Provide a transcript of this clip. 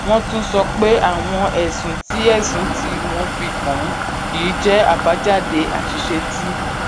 wọn tún sọ pé àwọn ẹsùn tí ẹsùn tí wón fi kàn án yìí jé àbájáde àṣìṣe tí